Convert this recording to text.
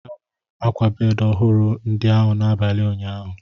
Ahụrụ m ákwà bedi ọhụrụ ndi ahụ n'abalị ụnyaahụ.